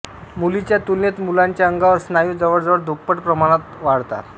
मुलीच्या तुलनेत मुलाच्या अंगावर स्नायू जवळजवळ दुप्पट प्रमाणात वाढतात